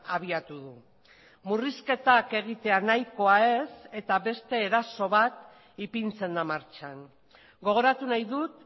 abiatu du murrizketak egitea nahikoa ez eta beste eraso bat ipintzen da martxan gogoratu nahi dut